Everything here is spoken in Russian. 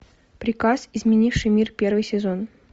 приказ изменивший мир первый сезон